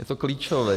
Je to klíčové.